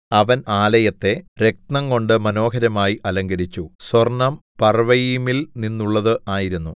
അവൻ ആലയത്തെ രത്നംകൊണ്ട് മനോഹരമായി അലങ്കരിച്ചു സ്വർണം പർവ്വയീമിൽ നിന്നുള്ളത് ആയിരുന്നു